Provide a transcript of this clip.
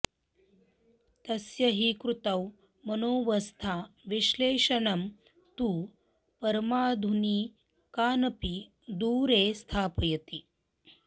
तस्य हि कृतौ मनोवस्थाविश्लेषणं तु परमाधुनिकानपि दूरे स्थापयति